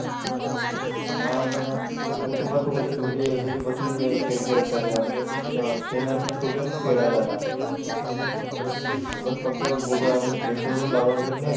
हा म्हणजे ते कुटुबा सोबतच घरी घरी बसून म्हणजे खेळ खेळतात म्हणजे खेळणारे म्हणजे सोपेपण खेळायला जातात बस फक्त गुगल म्हणजे प्लेस्टोर वरून डाउनलोड करणे